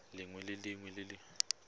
lengwe le lengwe le le